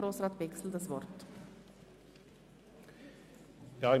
Kommissionspräsident der FiKo.